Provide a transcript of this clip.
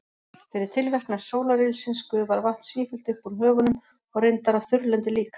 Fyrir tilverknað sólarylsins gufar vatn sífellt upp úr höfunum og reyndar af þurrlendi líka.